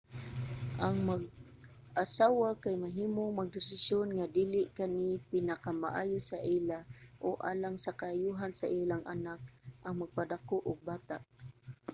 ang mag-asawa kay mahimong magdesisyon nga dili kani pinakamaayo sa ila o alang sa kaayohan sa ilang anak ang magpadako og bata